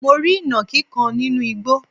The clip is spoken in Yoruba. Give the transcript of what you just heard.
mo rí ìnàkí kan nínú igbo